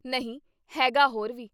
ਨਹੀਂ ਹੈਗਾ ਹੋਰ ਵੀ।